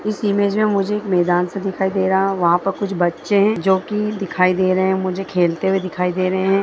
इस इमेज मे मुझे एक मैदान सा दिखाई दे रहा है वहा पर कुछ बच्चे है जोकी दिखाई दे रहे है मुझे खेलते हुए दिखाई दे रहे है।